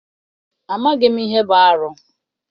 Amaghị m ihe bụ arụ.